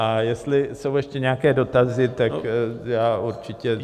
A jestli jsou ještě nějaké dotazy, tak já určitě...